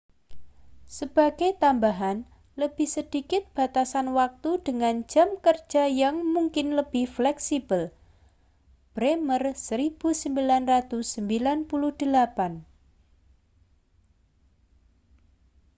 sebagai tambahan lebih sedikit batasan waktu dengan jam kerja yang mungkin lebih fleksibel. bremer 1998